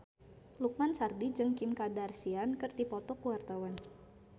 Lukman Sardi jeung Kim Kardashian keur dipoto ku wartawan